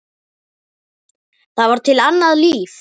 Það var til annað líf.